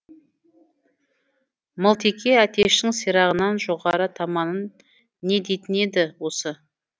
мылтеке әтештің сирағынан жоғары таманын не дейтін еді осы